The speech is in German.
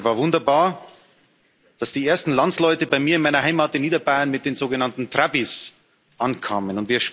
Es war wunderbar, als die ersten Landsleute bei mir in meiner Heimat in Niederbayern mit den sogenannten Trabbis ankamen.